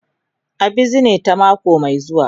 A bizine ta mako mai zuwa.